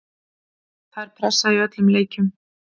Það er pressa í öllum leikjum.